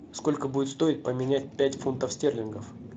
сколько будет стоить поменять пять фунтов стерлингов